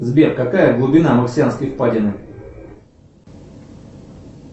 сбер какая глубина марсианской впадины